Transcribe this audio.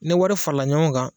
Ne wari farala ɲɔgɔn kan